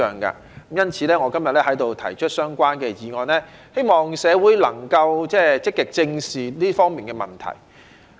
因此，我今天在此提出相關的議案，希望社會能夠積極正視這方面的問題。